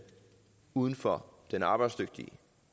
uden for den arbejdsdygtige